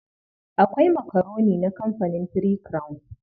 Akwai makaroni na kamfanin Three Crown.